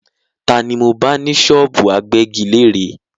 Ta ni mo bá ní ṣọ́ọ́bù agbẹ́giléèrè?